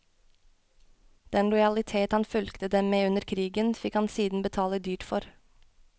Den lojalitet han fulgte dem med under krigen, fikk han siden betale dyrt for.